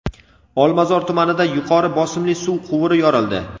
Olmazor tumanida yuqori bosimli suv quvuri yorildi.